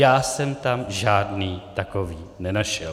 Já jsem tam žádný takový nenašel.